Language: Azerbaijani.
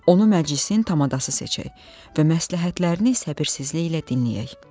Onu məclisin tamadası seçək və məsləhətlərini səbirsizliklə dinləyək.